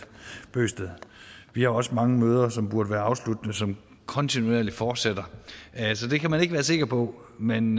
bøgsted vi har også mange møder som burde være afsluttende som kontinuerligt fortsætter altså det kan man ikke være sikker på men